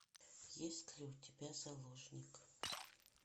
есть ли у тебя заложник